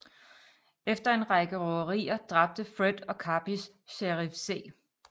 Efter en række røverier dræbte Fred og Karpis Sheriff C